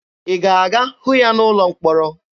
Ị ga-aga hụ ya n'ụlọ mkpọrọ?